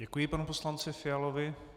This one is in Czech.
Děkuji panu poslanci Fialovi.